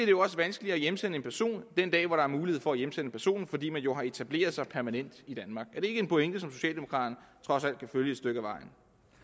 jo også vanskeligere at hjemsende en person den dag hvor der er mulighed for at hjemsende personen fordi man jo har etableret sig permanent i danmark er det ikke en pointe som socialdemokraterne trods alt kan følge et stykke ad vejen